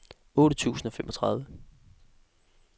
otte tusind og femogtredive